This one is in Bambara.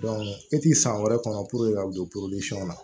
e ti san wɛrɛ kɔnɔ ka don la